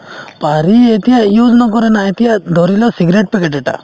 পাৰি এতিয়া use নকৰে না এতিয়া ধৰি লও cigarette packet এটা